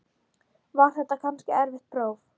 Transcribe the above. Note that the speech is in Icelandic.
Var þetta kannski erfitt próf?